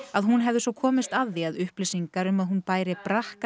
að hún hefði svo komist að því að upplýsingar um að hún bæri